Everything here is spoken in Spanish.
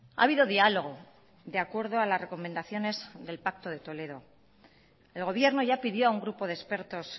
ha habido diálogo de acuerdo a las recomendaciones del pacto de toledo el gobierno ya pidió a un grupo de expertos